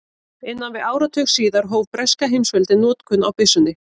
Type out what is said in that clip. Innan við áratug síðar hóf breska heimsveldið notkun á byssunni.